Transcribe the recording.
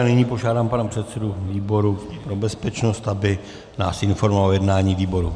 A nyní požádám pana předsedu výboru pro bezpečnost, aby nás informoval o jednání výboru.